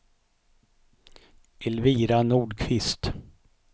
Elvira Nordqvist